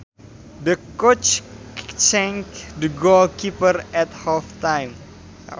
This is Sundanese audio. The coach changed the goal keeper at half time